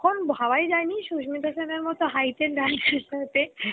তখন ভাবাই যায়েনি সুস্মিতা সেনের মত height এর নায়কার সাথে